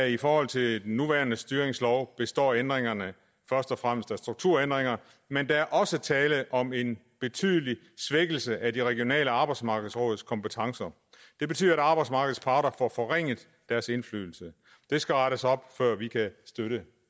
i forhold til den nuværende styringslov består ændringerne først og fremmest af strukturændringer men der er også tale om en betydelig svækkelse af de regionale arbejdsmarkedsråds kompetencer det betyder at arbejdsmarkedets parter får forringet deres indflydelse det skal rettes op før vi kan støtte